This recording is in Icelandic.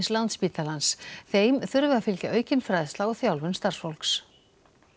Landspítalans þeim þurfi að fylgja aukin fræðsla og þjálfun starfsfólks